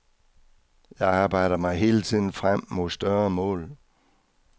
Jeg arbejder mig hele tiden frem mod større mål.